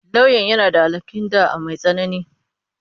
Lauyan yana da alhaƙin ɗa'a mai tsanani.